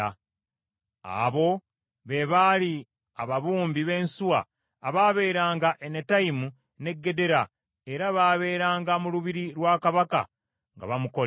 Abo be baali ababumbi b’ensuwa abaabeeranga e Netayimu n’e Gedera, era baabeeranga mu lubiri lwa kabaka nga bamukolera.